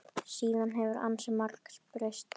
Síðan hefur ansi margt breyst.